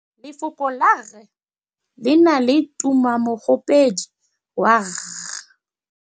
Lefoko la rre le na le tumammogôpedi ya, r.